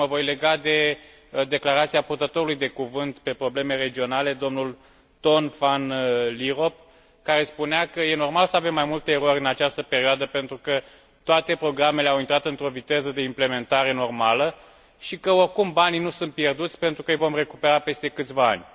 Mă voi lega de declarația purtătorului de cuvânt pe probleme regionale, dl Ton Van Lierop, care spunea că e normal să avem mai multe erori în această perioadă, pentru că toate programele au intrat într o viteză de implementare normală și că, oricum, banii nu sunt pierduți, pentru că îi vom recupera peste câțiva ani.